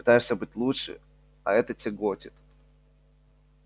пытаешься быть лучше а это тяготит